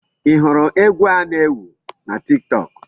Ị hụrụ egwu a na-ewu na Tiktok?